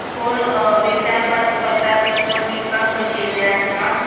कोण अ विचार पास करता तर कोण विकपाक बशील्ले आसा.